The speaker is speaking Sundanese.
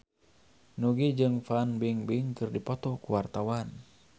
Nugie jeung Fan Bingbing keur dipoto ku wartawan